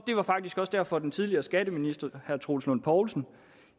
var faktisk også derfor at den tidligere skatteminister herre troels lund poulsen